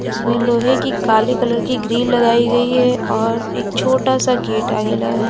इसमें लोहे की काले कलर की ग्रील लगाई गई है और एक छोटा सा गेट आगे लगा है।